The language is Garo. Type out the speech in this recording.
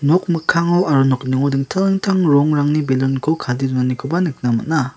nok mikkango aro nokningo dingtang dingtang rongrangni belun ko kadee donanikoba nikna man·a.